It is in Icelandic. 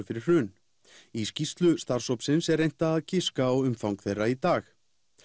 fyrir hrun í skýrslu starfshópsins er reynt að giska á umfang þeirra í dag